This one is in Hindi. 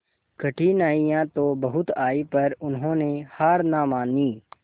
कठिनाइयां तो बहुत आई पर उन्होंने हार ना मानी